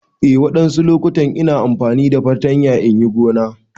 Eh wani loƙutan ina amfani da fartanya inyi gona.